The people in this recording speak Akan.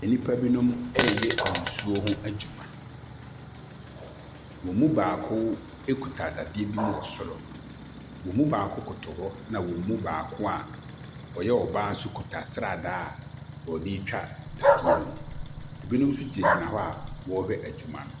Nnipa binom reyɛ nsuo ho adwuma. Wɔn mu baako kuta dadeɛ bi mu wɔ soro. Wɔn mu baako koto hɔ na wɔn mu baako a ɔyɛ ɔbaa nso kuta sradaa a ɔde retwa dadaeɛ bi mu. Binom nso gyinagyina hɔ a wɔrehwɛ adwuma no.